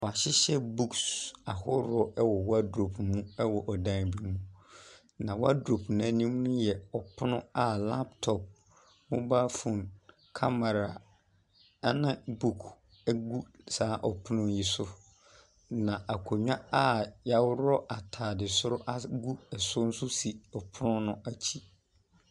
W'ahyehyɛ buks ahorow ɛwɔ wɔdrop mu ɛwɔ dan bi mu. Na wɔdrop n'anim yɛ ɔpono a laptɔp, mobal fon, kamara ɛna buk egu saa ɔpono yi so. Na akonwa a yaworɔ ataade soro egu so nso si ɔpono no akyi.